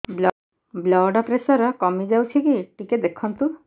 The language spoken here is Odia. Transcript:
ବ୍ଲଡ଼ ପ୍ରେସର କମି ଯାଉଛି କି ଟିକେ ଦେଖନ୍ତୁ